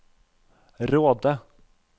Råde